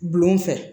Gulon fɛ